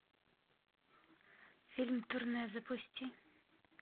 фильм турне запусти